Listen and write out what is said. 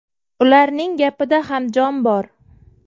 Ularning gapida ham jon bor.